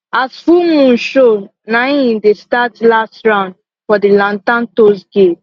as full moon show na hin dey start for the lantern toss game